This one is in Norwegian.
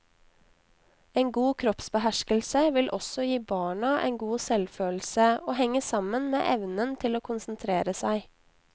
En god kroppsbeherskelse vil også gi barna en god selvfølelse og henger sammen med evnen til å konsentrere seg.